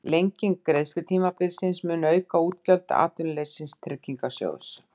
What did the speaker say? Lenging greiðslutímabilsins mun auka útgjöld Atvinnuleysistryggingasjóðs